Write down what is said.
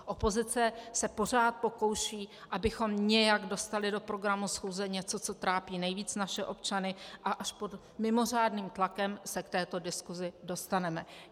Opozice se pořád pokouší, abychom nějak dostali do programu schůze něco, co trápí nejvíc naše občany, a až pod mimořádným tlakem se k této diskuzi dostaneme.